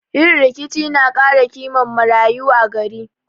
Yin rikici na kara kiman marayu a gari